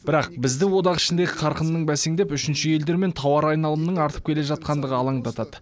бірақ бізді одақ ішіндегі қарқынның бәсеңдеп үшінші елдермен тауар айналымының артып келе жатқандығы алаңдатады